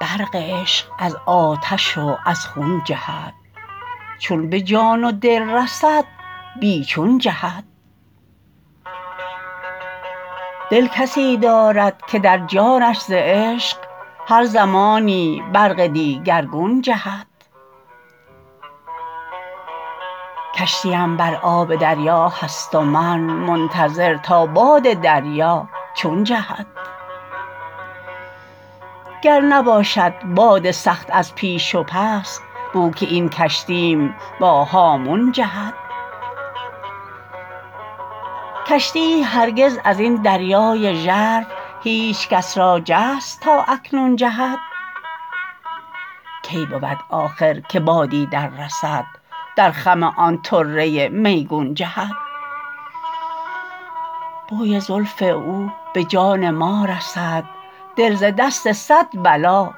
برق عشق از آتش و از خون جهد چون به جان و دل رسد بی چون جهد دل کسی دارد که در جانش ز عشق هر زمانی برق دیگرگون جهد کشتی ام بر آب دریا هست و من منتظر تا باد دریا چون جهد گر نباشد باد سخت از پیش و پس بو که این کشتی م با هامون جهد کشتی یی هرگز ازین دریای ژرف هیچ کس را جست تا اکنون جهد کی بود آخر که بادی در رسد در خم آن طره میگون جهد بوی زلف او به جان ما رسد دل ز دست صد بلا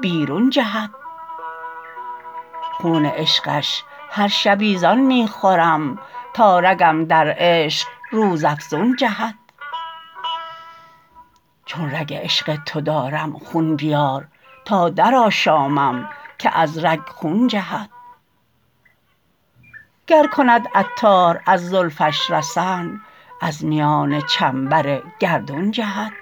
بیرون جهد خون عشقش هر شبی زآن می خورم تا رگم در عشق روز افزون جهد چون رگ عشق تو دارم خون بیار تا در آشامم که از رگ خون جهد گر کند عطار از زلفش رسن از میان چنبر گردون جهد